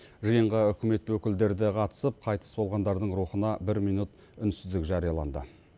жиынға үкімет өкілдері де қатысып қайтыс болғандардың рухына бір минут үнсіздік жарияланды